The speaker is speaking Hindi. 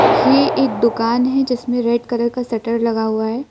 ये एक दुकान है जिसमें रेड कलर का शटर लगा हुआ है।